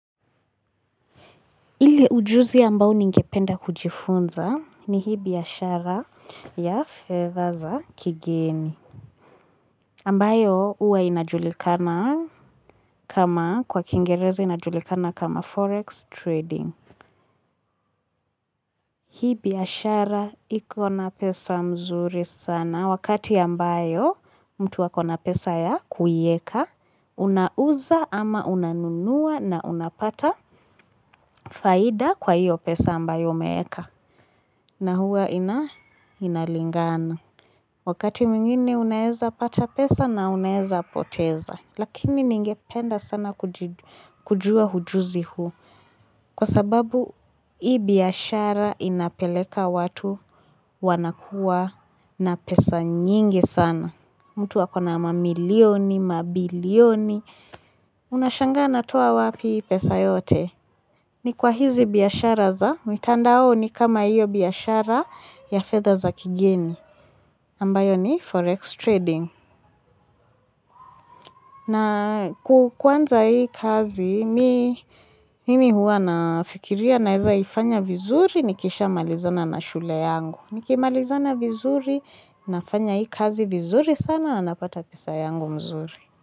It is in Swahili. Ile ujuzi ambao ningependa kujifunza ni hii biashara ya fedha za kigeni. Ambayo huwa inajulikana kama kwa kingereze inajulikana kama forex trading. Hii biashara ikona pesa mzuri sana wakati ambayo mtu wakona pesa ya kuieka. Unauza ama unanunua na unapata faida kwa hiyo pesa ambayo umeeka. Na huwa ina inalingana. Wakati mwingine unaeza pata pesa na unaeza poteza. Lakini ningependa sana kujua hujuzi huu. Kwa sababu hii biashara inapeleka watu wanakuwa na pesa nyingi sana. Mtu akona mamilioni, mabilioni. Unashanga anatoa wapi hii pesa yote? Ni kwa hizi biashara za mitandaoni kama iyo biashara ya fedha za kigeni ambayo ni forex trading. Na kuanza hii kazi, mimi hua nafikiria naweza ifanya vizuri, nikisha malizana na shule yangu. Nikimalizana vizuri, nafanya hii kazi vizuri sana, na napata pesa yangu mzuri.